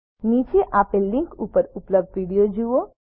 નીચે આપેલ લીનક ઉપર ઉપલબ્ધ વિડીઓ જુઓ